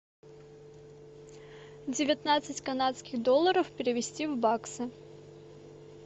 девятнадцать канадских долларов перевести в баксы